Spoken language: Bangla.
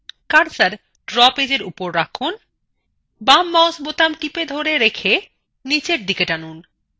cursor draw পেজএর উপর রাখুন বামmouseবোতাম টিপে ধরে রেখে নীচের দিকে টানুন